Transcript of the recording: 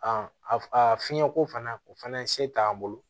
a fiɲɛko fana o fɛnɛ ye se t'an bolo